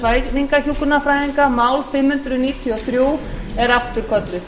svæfingarhjúkrunarfræðinga mál fimm hundruð níutíu og þrjú er afturkölluð